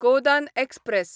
Godan express